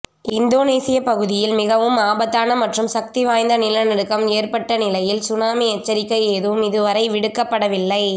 இந்தோனேசிய பகுதியில் மிகவும் ஆபத்தான மற்றும் சக்தி வாய்ந்த நிலநடுக்கம் ஏற்பட்ட நிலையில் சுனாமி எச்சரிக்கை ஏதும் இதுவரை விடுக்கப்படவில்லை